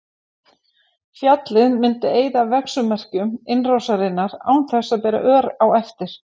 Fjallið myndi eyða verksummerkjum innrásarinnar án þess að bera ör á eftir.